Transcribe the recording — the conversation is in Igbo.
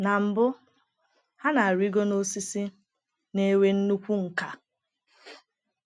Na mbụ, ha na-arịgo n’osisi, na-enwe nnukwu nkà.